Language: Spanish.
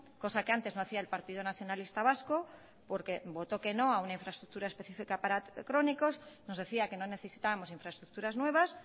cosa que antes no hacía el partido nacionalista vasco porque votó que no a una infraestructura específica para crónicos nos decía que no necesitábamos infraestructuras nuevas